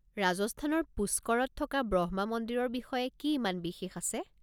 ৰাজস্থানৰ পুষ্কৰত থকা ব্ৰহ্মা মন্দিৰৰ বিষয়ে কি ইমান বিশেষ আছে?